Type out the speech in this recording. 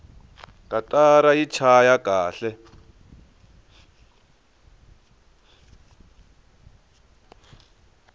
katara yi chaya kahle